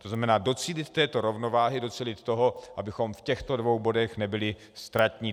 To znamená, docílit této rovnováhy, docílit toho, abychom v těchto dvou bodech nebyli ztratní.